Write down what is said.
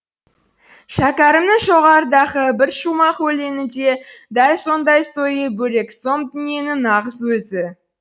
шәкәрімнің жоғарыдағы бір шумақ өлеңі де дәл сондай сойы бөлек сом дүниенің нағыз өзі